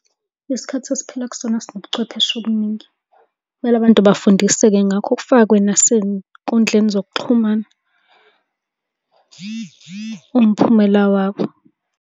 Isikhathi esiphila kusona sinobuchwepheshe obuningi. Kumele abantu bafundiseke ngakho kufakwe nasey'nkundleni zokuxhumana umphumela wabo.